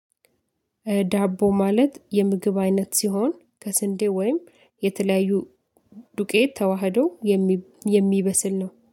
ዳቦ ማለት የምግብ አይነት ሲሆን ከስንዴ ወይም የተለያዩ ዱቄት ተዋህደው የሚበስል ነው